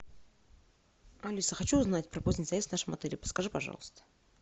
алиса хочу узнать про поздний заезд в нашем отеле подскажи пожалуйста